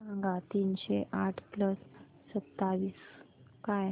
सांगा तीनशे आठ प्लस सत्तावीस काय